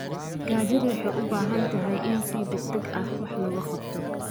Gaajada waxay u baahan tahay in si degdeg ah wax looga qabto.